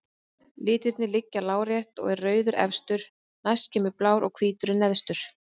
Litirnir liggja lárétt og er rauður efstur, næst kemur blár og hvítur er neðstur.